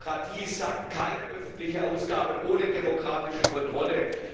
Die Demokratie sagt, keine öffentliche Ausgabe ohne demokratische Kontrolle.